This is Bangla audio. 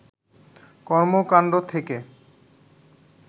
কর্মকান্ড থেকে